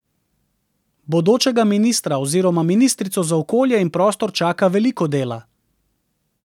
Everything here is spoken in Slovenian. Bodočega ministra oziroma ministrico za okolje in prostor čaka veliko dela.